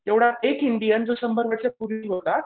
तेवढा एक इंडियन जो शंभर वर्ष पूर्ण होता.